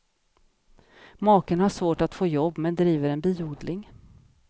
Maken har svårt att få jobb men driver en biodling.